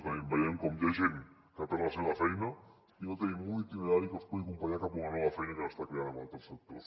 també veiem com hi ha gent que perd la seva feina i no tenim un itinerari que els pugui acompanyar cap a una nova feina que s’està creant en altres sectors